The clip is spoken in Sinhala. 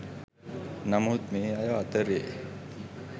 නමුත් මේ අය අතරේ